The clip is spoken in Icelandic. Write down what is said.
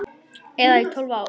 Eða í tólf ár?